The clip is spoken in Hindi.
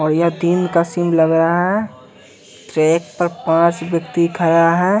और ये दिन का सीन लग रहा है ट्रैक पर पांच व्यक्ति खड़ा है।